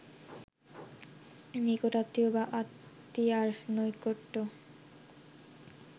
নিকট-আত্মীয় বা আত্মীয়ার নৈকট্য